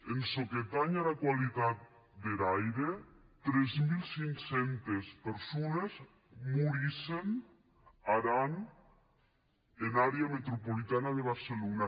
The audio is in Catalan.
en çò que tanh ara qualitat der aire tres mil cinc cents persones morissen ar an en airau metropolitan de barcelona